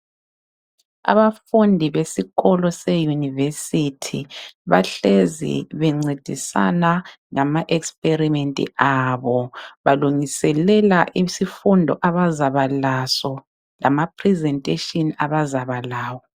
Abafundi besikolo seyunivesithi bahlezi bencedisana ngama ekisipelimenti abo balungiselela isifundo abazaba laso lamaphilizenteshini abazabalawo